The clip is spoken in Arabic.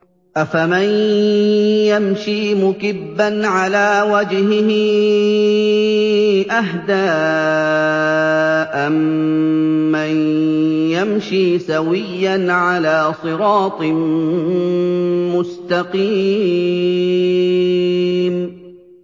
أَفَمَن يَمْشِي مُكِبًّا عَلَىٰ وَجْهِهِ أَهْدَىٰ أَمَّن يَمْشِي سَوِيًّا عَلَىٰ صِرَاطٍ مُّسْتَقِيمٍ